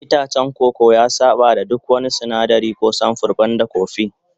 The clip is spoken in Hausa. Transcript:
Itacen koko ya saba da duk wani sinadari ko samfur banda kofi